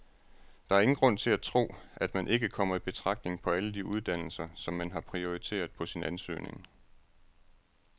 Der er ingen grund til at tro, at man ikke kommer i betragtning på alle de uddannelser, som man har prioriteret på sin ansøgning.